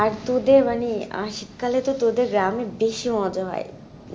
আর তোদের মানে, আহ শীতকালে তোদের গ্রামে বেশি মজা হয়